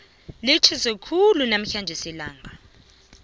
litjhisa khulu namhlanje ilanga